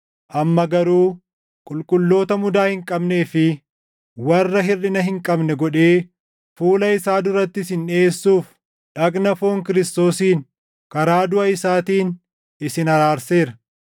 Amma garuu qulqulloota mudaa hin qabnee fi warra hirʼina hin qabne godhee fuula isaa duratti isin dhiʼeessuuf dhagna foon Kiristoosiin, karaa duʼa isaatiin isin araarseera;